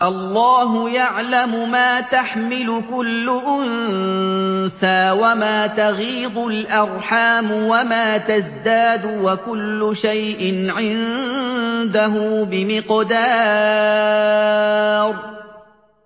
اللَّهُ يَعْلَمُ مَا تَحْمِلُ كُلُّ أُنثَىٰ وَمَا تَغِيضُ الْأَرْحَامُ وَمَا تَزْدَادُ ۖ وَكُلُّ شَيْءٍ عِندَهُ بِمِقْدَارٍ